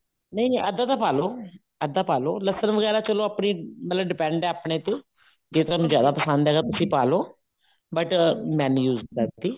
ਨਹੀਂ ਨਹੀਂ ਆਦਾ ਤਾਂ ਪਾਲੋ ਆਦਾ ਪਾਲੋ ਲਸਣ ਵਗੈਰਾ ਚਲੋ ਆਪਣੀ ਮਤਲਬ depend ਹੈ ਆਪਣੇ ਤੇ ਜੇ ਤੁਹਾਨੂੰ ਜਿਆਦਾ ਪਸੰਦ ਹੈਗਾ ਤੁਸੀਂ ਪਾਲੋ but ਮੈਂ ਨੀ use ਕਰਦੀ